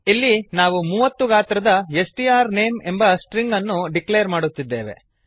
ಇಲ್ಲಿ ನಾವು ಮೂವತ್ತು ಗಾತ್ರದ ಎಸ್ ಟಿ ಆರ್ ನೇಮ್ ಎಂಬ ಸ್ಟ್ರಿಂಗ್ ಅನ್ನು ಡಿಕ್ಲೇರ್ ಮಾಡುತ್ತಿದ್ದೇವೆ